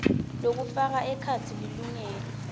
lokufaka ekhatsi lilungelo